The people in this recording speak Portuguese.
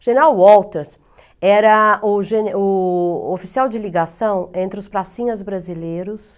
O general Walters era o ge o oficial de ligação entre os pracinhas brasileiros,